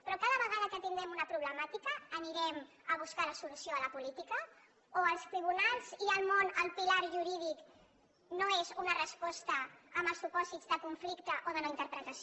però cada vegada que tindrem una problemàtica anirem a buscar la solució a la política o els tribunals i el món el pilar jurídic no és una resposta en els supòsits de conflicte o de no interpretació